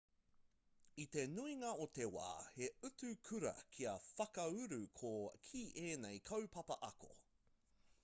i te nuinga o te wā he utu kura kia whakauru ki ēnei kaupapa ako